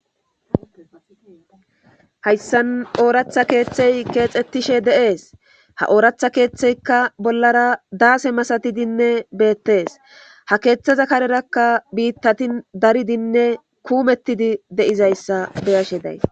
Hayssan ooratha keethey keexetishe de7ees; ha ooratha keetheykka bolara daase masathidinne beethes; ha keethaza karerakka biittati daridinne kuumettidi de7izaysa be7ashe days.